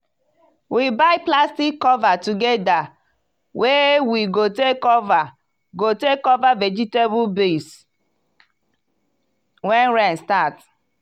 we buy plastic cover togeda wey we go take cover go take cover vegetable baeds when rain start.